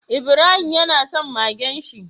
Ibrahima yana son Magen shi